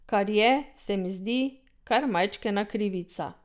Kar je, se mi zdi, kar majčkena krivica.